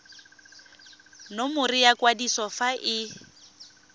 nomoro ya kwadiso fa e